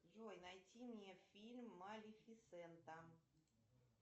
джой найти мне фильм малефисента